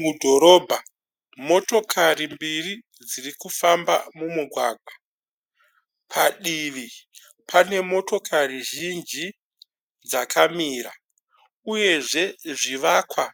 Mudhorobha, motokari mbiri dziri kufamba dziri kufamba mumugwagwa. Padivi pane motokari zhinji dzakamira uyezve zvivakwa